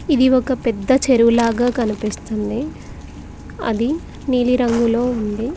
ఇది ఒక పెద్ద చెరువు లాగా కనిపిస్తుంది అది నీలిరంగులో ఉంది.